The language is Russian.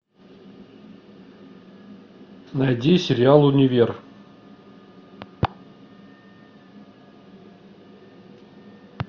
найди сериал универ